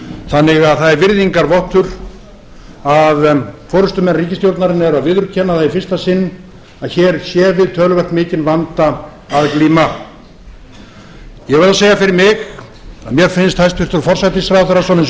þannig að það er virðingarvottur að forustumenn ríkisstjórnarinnar eru að viðurkenna það í fyrsta sinn að hér sé við töluvert mikinn vanda að glíma ég verð að segja fyrir mig að mér finnst hæstvirtur forsætisráðherra svona eins og